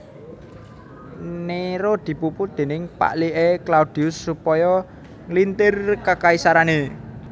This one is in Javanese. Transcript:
Néro dipupu déning pakliké Claudius supaya nglintir kakaisarané